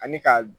Ani ka